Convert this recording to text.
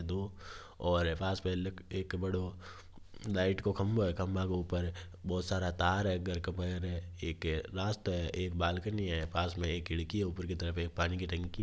और पास एक बड़ो लाइट का खभा है खम्बो के ऊपर बहुत सारा तार हैघर के ऊपर एक रास्तो है एक बाल्कनी है पास में एक खडकी है पानी की टंकी है।